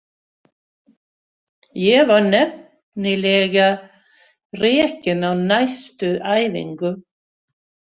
Ég var nefnilega rekin á næstu æfingu.